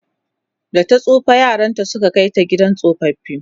data tsufa yaranta Suka Kai ta gidan tsofaffi